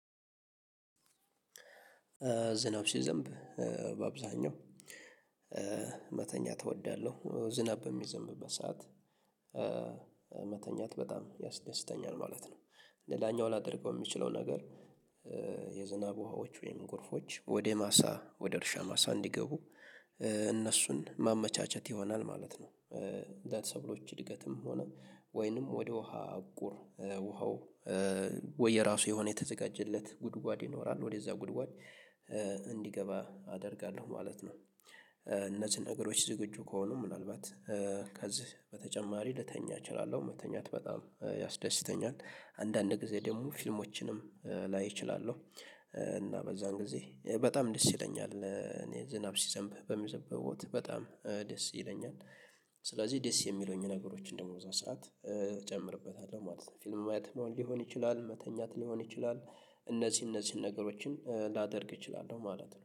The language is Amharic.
ዝናብ ሲዘንብ በአብዛኛው መተኛት እወዳለሁ እወዳለሁ ዝናብ በሚዘንብበት ሰዓት መተኛት በጣም ያስደስተኛል ማለት ነው። ሌላኛው ላደርገው የምችለው ነገር። የዝናብ ውሃዎች ወይም ጎርፎች ወደ ማሳ ወደ እርሻ ማሳ እንዲገቡ እነሱን ማመቻቸት ይሆናል ማለት ነው። እንደ ሰብሎች እድገትም ሆነ ወይንም ወደ ውሃ አቁር ውሃው ወይ የራሱ የሆነ የተዘጋጀለት ጉድጓድ ይኖራል ወደዛ ጉድጓድ እንዲገባ አደርጋለሁ ማለት ነው። እነዚህን ነገሮች ዝግጁ ከሆኑ ምናልባት ከዚህ በተጨማሪ ልተኛ እችላለሁ። መተኛት በጣም ያስደስተኛል አንዳንድ ጊዜ ደግሞ ፊልሞችንም ላይ እችላለሁ። እና በዛን ጊዜ በጣም ደስ ይለኛል እኔ ዝናብ ሲዘንብ በሚዘንብበ ወቅት በጣም ደስ ይለኛል። ስለዚህ ደስ የሚሉኝ ነገሮችን ደግሞ እዛ ሰዓት እጨምርበታለሁ ማለት ነው። ፊልም ማየት ሊሆን ይችላል መተኛት ሊሆን ይችላል። እነዚህ እነዚህን ነገሮችን ላደርግ እችላለሁ ማለት ነው